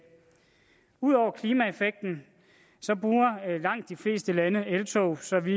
udover klimaeffekten bruger langt de fleste lande eltog så vi